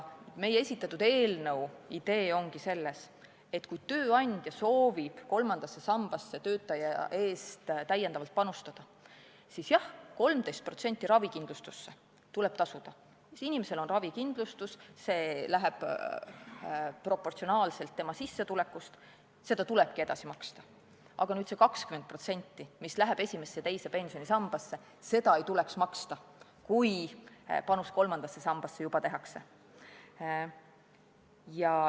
Meie esitatud eelnõu idee ongi selles, et kui tööandja soovib kolmandasse sambasse töötaja eest täiendavalt panustada, siis jah, 13% ravikindlustuse jaoks tuleb tasuda, kui inimesel on ravikindlustus, seda summat arvestatakse proportsionaalselt tema sissetulekuga, seda tulebki edasi maksta, aga seda 20%, mis läheb esimesse ja teise pensionisambasse, ei tuleks maksta, kui panus kolmandasse sambasse juba tehakse.